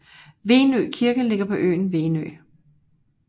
Venø Kirke ligger på øen Venø